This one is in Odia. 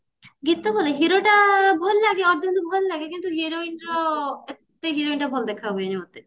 ଗୀତ ଭଲ hero ଟା ଭଲଲାଗେ ଅଧା ଅଧା ଭଲ ଲାଗେ କିନ୍ତୁ heroine ର ଏତେ ହେରୋଇନ ଟା ଭଲ ଦେଖା ହୁଏନି ମତେ